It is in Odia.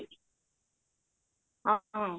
ଅ ହଁ